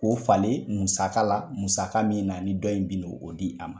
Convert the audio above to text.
K 'o falen musaka la musaka min na ni dɔ in be o di a ma